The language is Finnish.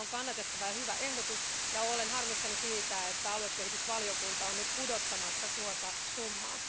Tämä on kannatettava ja hyvä ehdotus ja olen harmissani siitä, että aluekehitysvaliokunta on nyt pudottamassa tuota summaa.